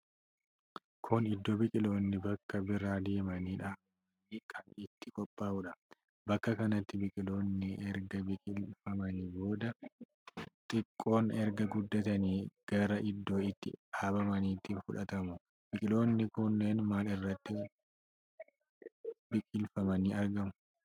Kun iddo biqiloonni bakka biraa deemanii dhaabaman kan itti qophaa'udha. bakka kanatti biqiloonni erga biqilfamanii booda, xiqqoon erga guddatanii gara iddoo itti dhaabamaniitti fudhatamu. Biqiloonni kunneen maal irratti biqilfamanii argamu?